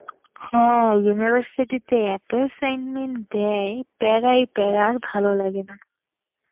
হ্যাঁ, university তে এত assignment দেয়, প্যারাই প্যারা, আর ভালো লাগেনা.